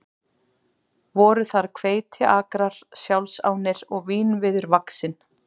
Voru þar hveitiakrar sjálfsánir og vínviður vaxinn.